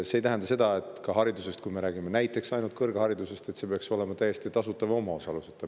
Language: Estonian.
See ei tähenda, et kui me räägime näiteks kõrgharidusest, siis see peaks olema täiesti tasuta või omaosaluseta.